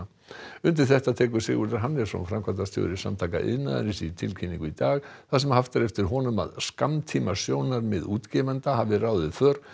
undir þetta tekur Sigurður Hannesson framkvæmdastjóri Samtaka iðnaðarins í tilkynningu í dag þar sem haft er eftir honum að skammtímasjónarmið útgefenda hafi ráðið för